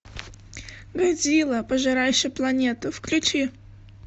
годзилла пожирающий планету включи